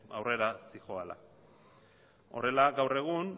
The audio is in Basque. aurrera zihoala horrela gaur egun